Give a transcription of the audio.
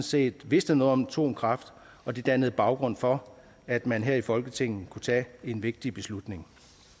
set vidste noget om atomkraft og det dannede baggrund for at man her i folketinget kunne tage en vigtig beslutning